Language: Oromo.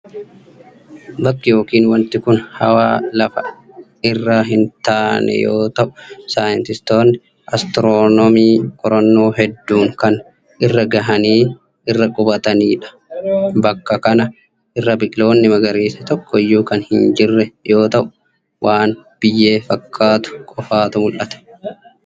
Bakki yookin wanti kun hawaa lafa irra hin taane yoo ta'u, saayintistoonni astiroonoomii qorannoo hedduun kan irra gahanii irra qubatanii dha. Bakka kana irra biqiloonni magariisni tokko iyyuu kan hin jirre yoo ta'u, waan biyyee fakkaatu qofatu mul'ata.